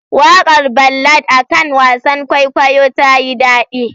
Waƙar ballad akan wasan kwaikwayo tayi dadi.